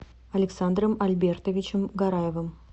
александром альбертовичем гараевым